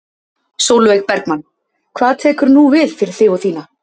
Sólveig Bergmann: Hvað tekur nú við fyrir þig og þína?